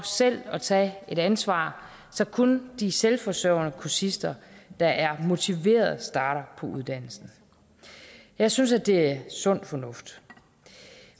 selv at tage et ansvar så kun de selvforsørgende kursister der er motiverede starter på uddannelsen jeg synes det sund fornuft